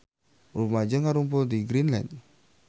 Rumaja ngarumpul di Greenland